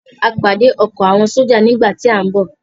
A pàdé ọkọ̀ àwọn sójà nígbà tí à ń bọ̀